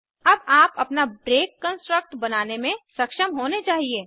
अब आप अपना ब्रेक कन्स्ट्रक्ट बनाने में सक्षम होने चाहिए